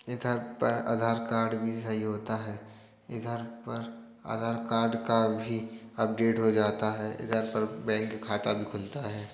इधर पर आधार कार्ड भी सही होता है। इधर पर आधार कार्ड का भी अपडेट हो जाता है। इधर पर बैंक का खाता भी खुलता है।